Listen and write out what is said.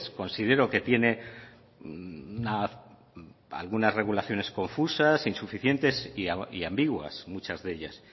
considero que tiene algunas regulaciones confusas insuficientes y ambiguas muchas de ellas